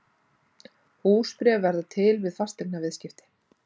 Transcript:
Húsbréf verða til við fasteignaviðskipti.